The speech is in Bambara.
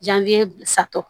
satɔ